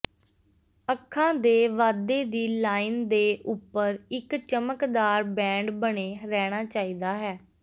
ਅੱਖਾਂ ਦੇ ਵਾਧੇ ਦੀ ਲਾਈਨ ਦੇ ਉੱਪਰ ਇੱਕ ਚਮਕਦਾਰ ਬੈਂਡ ਬਣੇ ਰਹਿਣਾ ਚਾਹੀਦਾ ਹੈ